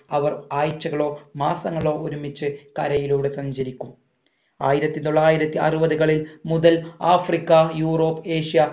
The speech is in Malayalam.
അവർ ആഴ്ചകളോ മാസങ്ങളോ ഒരുമിച്ച് കരയിലൂടെ സഞ്ചരിക്കും ആയിരത്തി തൊള്ളായിരത്തി അറുപതുകളിൽ മുതൽ ആഫ്രിക്ക യൂറോപ് ഏഷ്യ